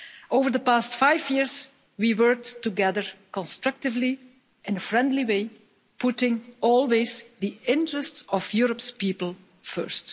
Over the past five years we worked together constructively in a friendly way, putting all this the interests of Europe's people first.